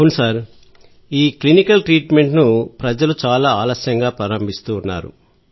అవును sir clinical treatment ను ప్రజలు చాలా ఆలస్యంగా ప్రారంభిస్తారు